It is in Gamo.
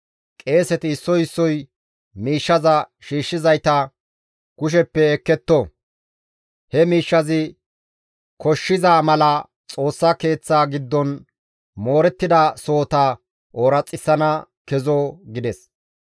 Qeeseti issoy issoy miishshaza shiishshizayta kusheppe ekketto; he miishshazi koshshiza mala Xoossa Keeththa giddon moorettida sohota ooraxissana kezo» gides.